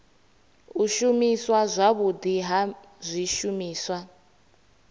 u shumiswa zwavhudi ha zwishumiswa